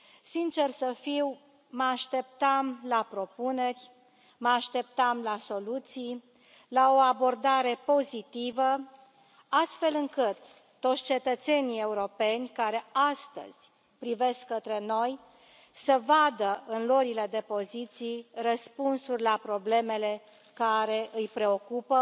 Sinceră să fiu, mă așteptam la propuneri, mă așteptam la soluții, la o abordare pozitivă, astfel încât toți cetățenii europeni care astăzi privesc către noi, să vadă în luările de poziții răspunsuri la problemele care îi preocupă,